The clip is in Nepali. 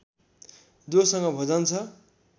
जोसँग भोजन छ